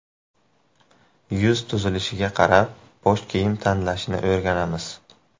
Yuz tuzilishiga qarab bosh kiyim tanlashni o‘rganamiz .